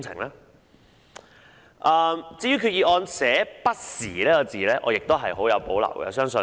對於擬議決議案內用"不時"這兩個字，我亦很有保留。